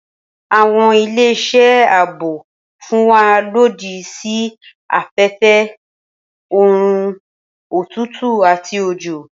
Awọn ile ṣe aabo fun wa lodi si afẹfẹ, oorun, otutu ati ojo.